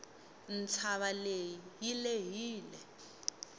ntshava leyi yi lehile